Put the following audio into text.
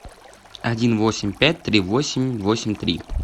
один восемь пять тридцать восемь восемь три